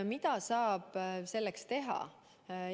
Mida saab selleks teha?